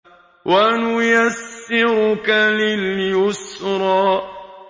وَنُيَسِّرُكَ لِلْيُسْرَىٰ